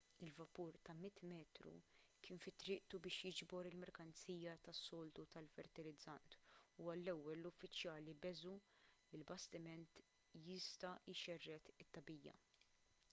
il-vapur ta' 100 metru kien fi triqtu biex jiġbor il-merkanzija tas-soltu tal-fertilizzant u għall-ewwel l-uffiċjali beżgħu li l-bastiment jista' jxerred tagħbija